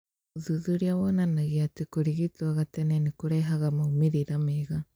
Ũthuthuria wonanagia tĩ kũrigitwo gatene nĩ kũrehaga maumĩrĩra mega